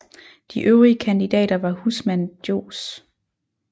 De øvrige kandidater var husmand Johs